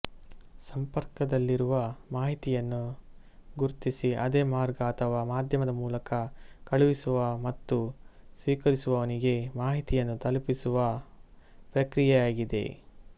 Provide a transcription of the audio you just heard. ಸಂಪರ್ಕದಲ್ಲಿರುವ ಮಾಹಿತಿಯನ್ನು ಗುರ್ತಿಸಿ ಅದೇ ಮಾರ್ಗ ಅಥವಾ ಮಾಧ್ಯಮದ ಮೂಲಕ ಕಳುಹಿಸುವ ಮತ್ತು ಸ್ವೀಕರಿಸುವವನಿಗೆ ಮಾಹಿತಿಯನ್ನು ತಲುಪಿಸುವ ಪ್ರಕ್ರಿಯೆಯಾಗಿದೆ